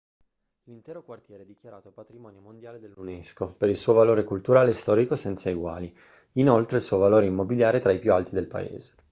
l'intero quartiere è dichiarato patrimonio mondiale dall'unesco per il suo valore culturale e storico senza eguali inoltre il suo valore immobiliare è tra i più alti del paese